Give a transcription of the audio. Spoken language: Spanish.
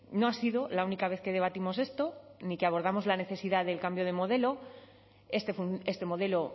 no ha sido la única vez que debatimos esto ni que abordamos la necesidad del cambio de modelo este modelo